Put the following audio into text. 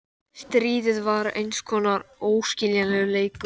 Stríðið var eins konar óskiljanlegur leikur.